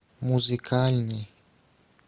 музыкальный